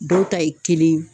Dɔw ta ye kelen ye